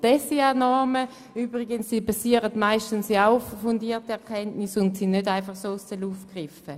Die SIA-Normen basieren übrigens meistens auf fundierten Erkenntnissen und sind nicht einfach aus der Luft gegriffen.